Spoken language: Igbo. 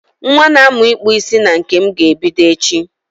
Nwa na-amu ikpu isi na nke m ga-ebido echi.